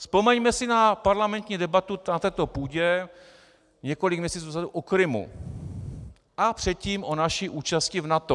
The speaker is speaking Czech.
Vzpomeňme si na parlamentní debatu na této půdě několik měsíců dozadu o Krymu a předtím o naší účasti v NATO.